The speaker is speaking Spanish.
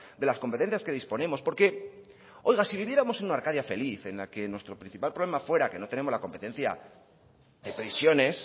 de las competencias que disponemos porque oiga si viviéramos en una arcadia feliz en la que nuestro principal problema fuera que no tenemos la competencia de prisiones